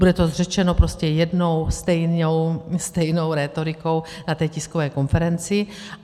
Bude to řečeno prostě jednou stejnou rétorikou na té tiskové konferenci.